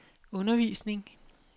undervisning